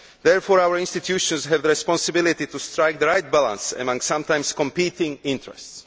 therefore our institutions have the responsibility to strike the right balance amongst sometimes competing interests.